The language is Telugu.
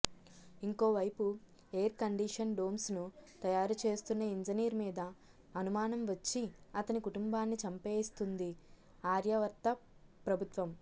ఇంకోవైపు ఎయిర్కండిషన్ డోమ్స్ను తయారు చేస్తున్న ఇంజనీర్ మీద అనుమానం వచ్చి అతని కుటుంబాన్నీ చంపేయిస్తుంది ఆర్యావర్త ప్రభుత్వం